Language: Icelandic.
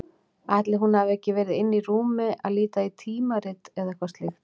Ætli hún hafi ekki verið inni í rúmi að líta í tímarit eða eitthvað slíkt.